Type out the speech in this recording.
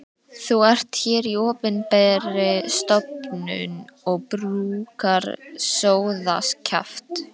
Þú ert hér í opinberri stofnun og brúkar sóðakjaft.